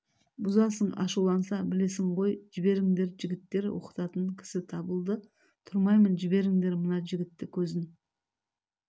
бұзасың ашуланса білесің ғой жіберіңдер жігіттер оқытатын кісі табылды тұрмаймын жіберіңдер мына жігітті көзін